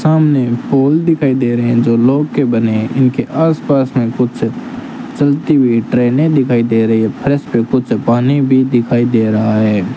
सामने पोल दिखाई दे रहे हैं जो लोह के बने हैं इनके आसपास में कुछ चलती हुई ट्रेनें दिखाई दे रही हैं फर्श पे कुछ पानी भी दिखाई दे रहा है।